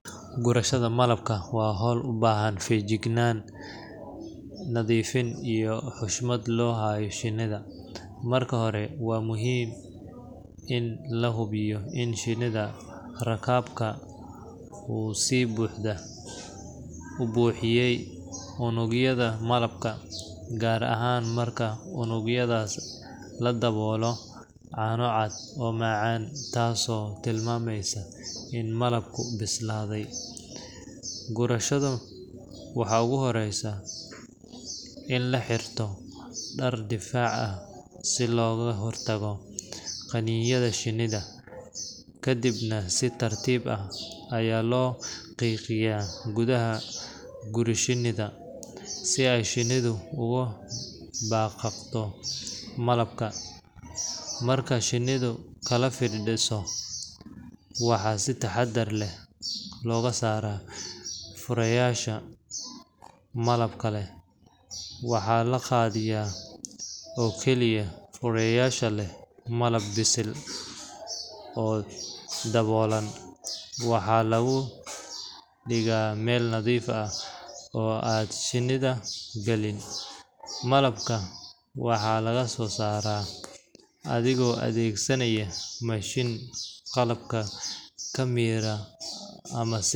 Gurashada malabku waa hawl u baahan feejignaan, nadiifin iyo xushmad loo hayo shinnida. Marka hore, waxaa muhiim ah in la hubiyo in shinni-rakaabka uu si buuxda u buuxiyey unugyada malabka, gaar ahaan marka unugyadaas la daboolo caano cad oo macaan – taasoo tilmaamaysa in malabku bislaaday. Gurashada waxaa ugu horreeya in la xirto dhar difaac ah si looga hortago qaniinyada shinnida, kadibna si tartiib ah ayaa loo qiiqiyaa gudaha guri-shinnida, si ay shinnidu uga dhaqaaqdo malabka. Marka shinnidu kala firdhiso, waxaa si taxaddar leh looga saaraa fureyaasha malabka leh. Waxaa la qaadayaa oo keliya fureyaasha leh malab bisil oo daboolan, waxaana lagu dhigaa meel nadiif ah oo aan shinnidu galin. Malabka waxaa laga soo saaraa adigoo adeegsanaya mashiin malabka ka miira ama si.